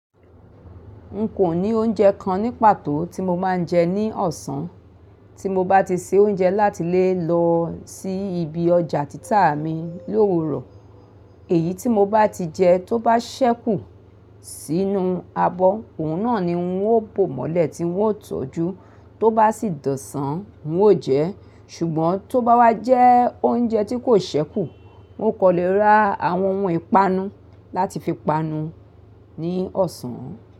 N kò ní oúnjẹ kan ní pàtó tí mo máa ń jẹ ní ọ̀sán, tí mo bá ti se oúnjẹ láti lé lọ sí ibi ọjà títà mi l'òwúrò. Èyí tí mo bá ti jẹ tó bá ṣẹ́kù sínú abọ́, òun náà ni n ó bò mọ́lẹ̀ tí n ó tọ́jú. Tó bá sì dọ̀sán, n ó jẹ ẹ́. Ṣùgbọ́n tó bá wá jẹ oúnjẹ tí kò ṣẹ́kù, n ó kọ́ lé ra àwọn ohun ìpanu láti fi panu ní ọ̀sán.